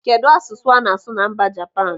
Kedụ asụsụ ana-asu na mba Japan?